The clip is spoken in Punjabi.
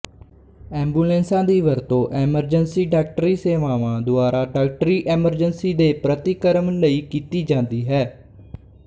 ਐਂਬੂਲੈਂਸਾਂ ਦੀ ਵਰਤੋਂ ਐਮਰਜੈਂਸੀ ਡਾਕਟਰੀ ਸੇਵਾਵਾਂ ਦੁਆਰਾ ਡਾਕਟਰੀ ਐਮਰਜੈਂਸੀ ਦੇ ਪ੍ਰਤੀਕਰਮ ਲਈ ਕੀਤੀ ਜਾਂਦੀ ਹੈ